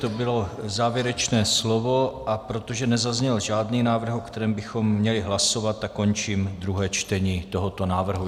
To bylo závěrečné slovo, a protože nezazněl žádný návrh, o kterém bychom měli hlasovat, tak končím druhé čtení tohoto návrhu.